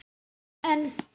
En en.